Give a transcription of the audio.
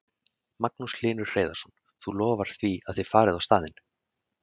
Magnús Hlynur Hreiðarsson: Þú lofar því að þið farið á staðinn?